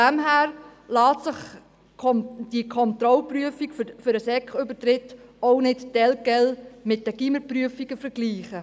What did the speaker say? Daher lässt sich die Kontrollprüfung für den Sekübertritt auch nicht telquel mit den Gymnasiumsprüfungen vergleichen.